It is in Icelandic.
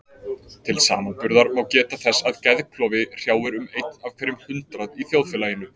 Til samanburðar má geta þess að geðklofi hrjáir um einn af hverjum hundrað í þjóðfélaginu.